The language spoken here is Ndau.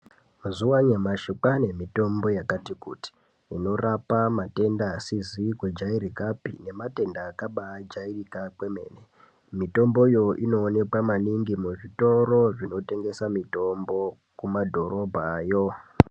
Mazuwa anyamashi kwane mitombo yakati kuti inorape matenda asizi kujairakapi nematenda akabajairika kwemene mitomboyo inoonekwa maningi muzvitoro zvinotengesa mitombo kumadhorobhayo.